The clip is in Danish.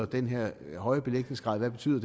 den her høje belægningsgrad betyder